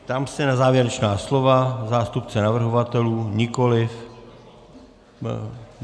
Ptám se na závěrečná slova zástupce navrhovatelů - nikoliv.